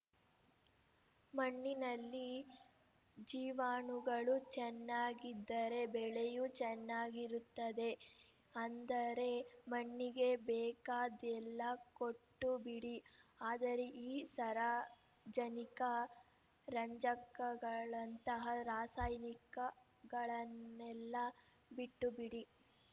ಮಣ್ಣಿನಲ್ಲಿ ಜೀವಾಣುಗಳು ಚೆನ್ನಾಗಿದ್ದರೆ ಬೆಳೆಯೂ ಚೆನ್ನಾಗಿರುತ್ತದೆ ಅಂದರೆ ಮಣ್ಣಿಗೆ ಬೇಕಾದ್ದೆಲ್ಲ ಕೊಟ್ಟುಬಿಡಿ ಆದರೆ ಈ ಸಾರಜನಿಕ ರಂಜಕಗಳಂಥ ರಾಸಾಯನಿಕಗಳನ್ನೆಲ್ಲ ಬಿಟ್ಟುಬಿಡಿ